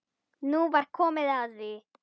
Nú var komið að því!